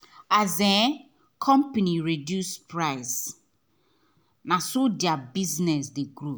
as um company reduce price naso thier business dey grow